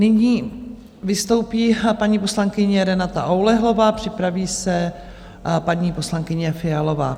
Nyní vystoupí paní poslankyně Renata Oulehlová, připraví se paní poslankyně Fialová.